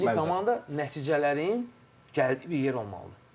Milli komanda nəticələrin bir yer olmalıdır.